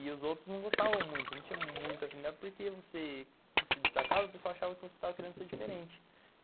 E os outros não gostavam muito, não tinham muita afinidade, porque você se destacava e o pessoal achava que você estava querendo ser diferente.